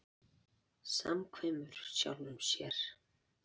Samkvæmur sjálfum sér.